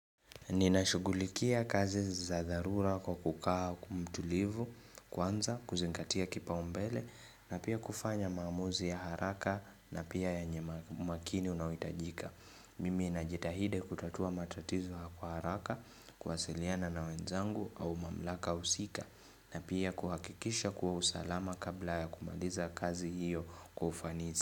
Ninashugulikia kazi za dharura kwa kukaa kumtulivu kwanza kuzingatia kipa umbele na pia kufanya maamuzi ya haraka na pia yanye makini unaoitajika. Mimi najitahidi kutatua matatizo kwa araka kuwasiliana na wenzangu au mamlaka usika na pia kuhakikisha kuwa usalama kabla ya kumaliza kazi hiyo kwa ufanisi.